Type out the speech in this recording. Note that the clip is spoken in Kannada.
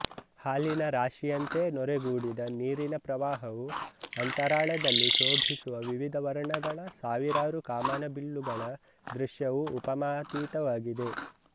ಹಾಲಿನ ರಾಶಿಯಂತೆ ನೊರೆಗೂಡಿದ ನೀರಿನ ಪ್ರವಾಹವೂ ಅಂತರಾಳದಲ್ಲಿ ಶೋಭಿಸುವ ವಿವಿಧ ವರ್ಣಗಳ ಸಾವಿರಾರು ಕಾಮನಬಿಲ್ಲುಗಳ ದೃಶ್ಯವೂ ಉಪಮಾತೀತವಾಗಿವೆ